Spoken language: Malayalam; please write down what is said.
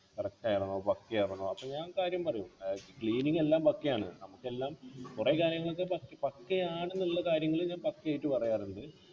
correct ആണോ പക്കയാണോ അപ്പൊ ഞാൻ കാര്യം പറയും ആഹ് cleaning എല്ലാം പക്കയാണ് നമുക്കെല്ലാം കൊറേ കാര്യങ്ങൾക് പക്ക് പക്കയാണ് ന്നുള്ള കാര്യങ്ങള് ഞാൻ പക്കയായിട്ട് പറയാറുണ്ട്